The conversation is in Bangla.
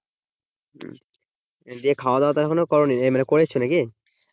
দিয়ে খাওয়াদাওয়া এখনও করোনি, এই মানে করেছো নাকি?